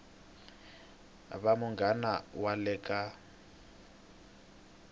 va muganga wa le ka